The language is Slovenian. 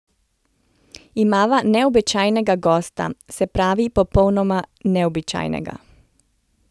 Imava neobičajnega gosta, se pravi popolnoma neobičajnega.